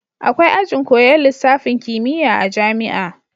Akwai ajin koyan lisafin kimiya a jamia